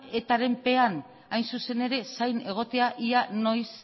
etaren pean zain egotea ea noiz